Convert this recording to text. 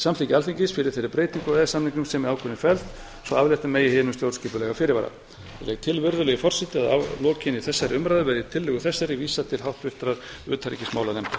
samþykki alþingis fyrir þeirri breytingu á e e s samningum sem í ákvörðuninni felst svo aflétta megi hinum stjórnskipulega fyrirvara ég legg til virðulegi forseti að lokinni þessari umræðu verði tillögu þessari vísað til háttvirtrar utanríkismálanefndar